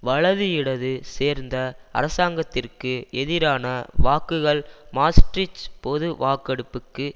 வலது இடது சேர்ந்த அரசாங்கத்திற்கு எதிரான வாக்குகள் மாஸ்ட்ரிச் பொது வாக்கெடுப்புக்கு